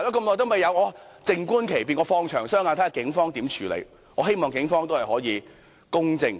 我只好靜觀其變，"放長雙眼"，看警方會如何處理，我希望警方能公正處理。